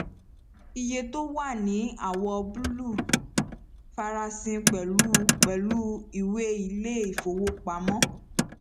iye tó wà ní àwọ búlù farasin pẹlú pẹlú ìwé ilé ìfowópamọ